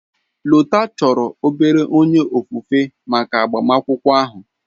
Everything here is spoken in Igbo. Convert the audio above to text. Lota chọrọ obere onye ofufe maka agbamakwụkwọ ahụ.